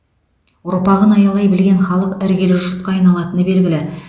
ұрпағын аялай білген халық іргелі жұртқа айналатыны белгілі